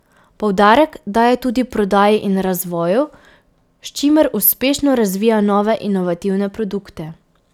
Poudarek daje tudi prodaji in razvoju, s čimer uspešno razvija nove inovativne produkte.